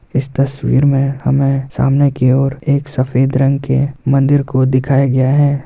इस तस्वीर में हमें सामने की ओर एक सफेद रंग के मंदिर को दिखाया गया है।